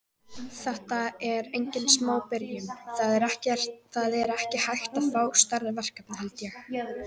Þetta er engin smá byrjun, það er ekki hægt að fá stærra verkefni held ég.